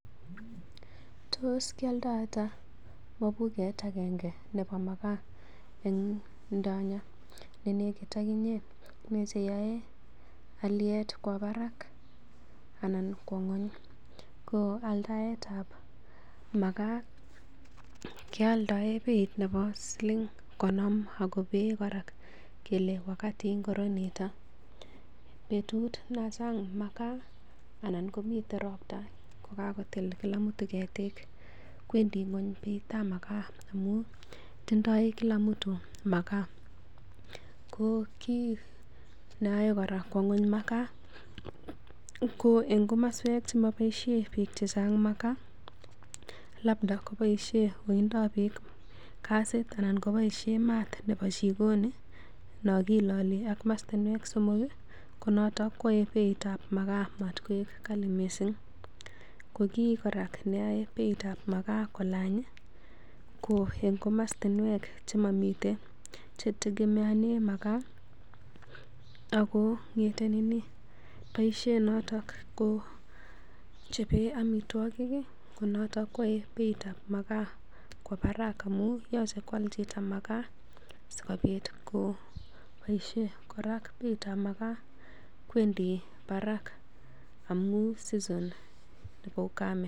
Tos kioldo ata mobuget agenge ne bo makaa en ndonyo ne negit en inye? Ne che yoei alyet kwo barak anan ng'wony? Ko aldaetab makaa kealdaen beit nebo siling konom ago been kora kole wakati ngiro nito. Betut nan chang makaa anan komite ropta kogakotil kila mtu ketik kwendi ngwony beitab makaa amun tindoi kila mtu makaa. Ko kiit neyoe kora kwo ngweny makaa ko en komaswek che moboisie biik che chang makaa, labda koboisien wooindap biik gasit anan koboisie maat nebo jikoni non kiloli ak mostinwek somok ko noto koyae beitab makaa mat koik kali mising. Ko kiy kora neyoe beitab makaa kolany, ko en komoswek che tegemeanen makaa ago bosie noto kochope amitwogik ko noto koyae beitab makaa kwa barak amun yoche koal chito makaa ak si kobit koboisie kora beitab makaa kwendi barak amun season nebo ukame.